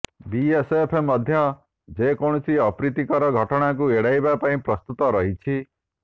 BSF ମଧ୍ୟ ଯେ କୌଣସି ଅପ୍ରୀତିକର ଘଟଣାକୁ ଏଡାଇବା ପାଇଁ ପ୍ରସ୍ତୁତ ରହିଛି